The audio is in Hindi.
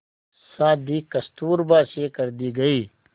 शादी कस्तूरबा से कर दी गई